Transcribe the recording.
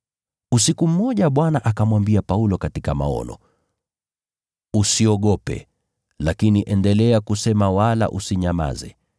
Usiku mmoja Bwana akamwambia Paulo katika maono, “Usiogope, lakini endelea kusema wala usinyamaze,